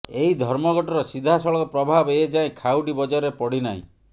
ଏହି ଧର୍ମଘଟର ସିଧାସଳଖ ପ୍ରଭାବ ଏ ଯାଏଁ ଖାଉଟି ବଜାରରେ ପଡ଼ି ନାହିଁ